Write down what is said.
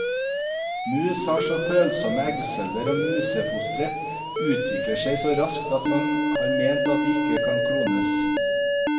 Mus har så følsomme eggceller, og musefostre utvikler seg så raskt at man har ment at de ikke kan klones.